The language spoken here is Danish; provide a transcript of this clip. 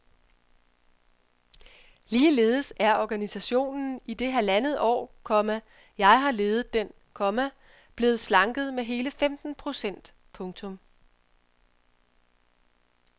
Ligeledes er organisationen i det halvandet år, komma jeg har ledet den, komma blevet slanket med hele femten procent. punktum